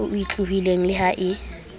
e otlolohileng le ha e